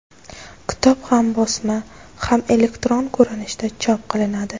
Kitob ham bosma, ham elektron ko‘rinishda chop qilinadi.